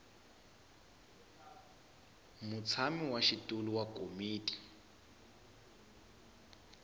mutshami wa xitulu wa komiti